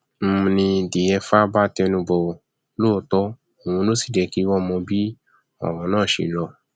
n ní diefah bá tẹnu bọrọ lóòótọ òun ló sì jẹ kí wọn mọ bí ọrọ náà ṣe lọ